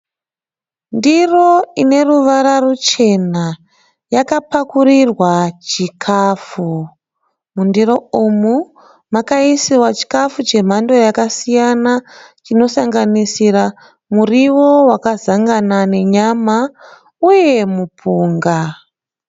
Ndiro ine ruvara ruchena yakapakurirwa chikafu. Mundiro umu makaisiwa chikafu chemhando yakasiyana chinosanganisira, muriwo wakazangana nenyama uye mupunga.